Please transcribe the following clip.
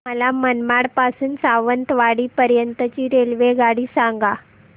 मला मनमाड पासून तर सावंतवाडी पर्यंत ची रेल्वेगाडी सांगा